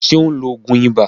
Ṣé ó ń lo òògùn ibà?